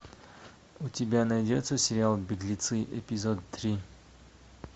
у тебя найдется сериал беглецы эпизод три